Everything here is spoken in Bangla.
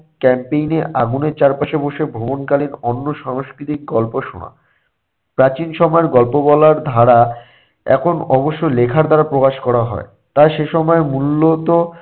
campaign এ আগুনের চারপাশে বসে ভ্রমণকালীন অন্য সাংস্কৃতিক গল্প শোনা। প্রাচীন সময়ের গল্প বলার ধারা এখন অবশ্য লেখার দ্বারা প্রকাশ করা হয়। তাই সে সময়ের মূল্য তো